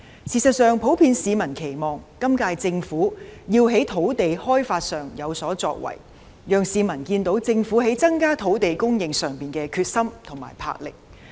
事實上，市民普遍期望今屆政府要在土地開發上有所作為，讓市民看到政府在增加土地供應上的決心和魄力。